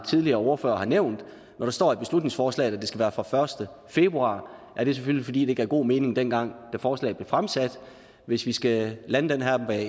tidligere ordførere har nævnt at når der står i beslutningsforslaget at det skal være fra første februar er det selvfølgelig fordi det gav god mening dengang da forslaget blev fremsat hvis vi skal lande det her med